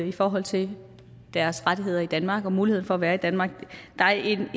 i forhold til deres rettigheder i danmark og muligheden for at være i danmark vi er